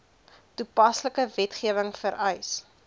toepaslike wetgewing vereis